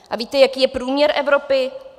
A víte, jaký je průměr Evropy?